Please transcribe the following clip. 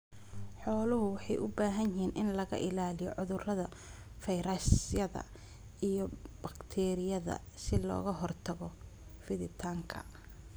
Xooluhu waxay u baahan yihiin in laga ilaaliyo cudurrada fayrasyada iyo bakteeriyada si looga hortago fiditaanka.